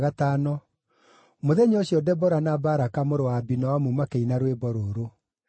Mũthenya ũcio Debora na Baraka mũrũ wa Abinoamu makĩina rwĩmbo rũrũ: